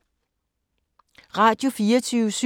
Radio24syv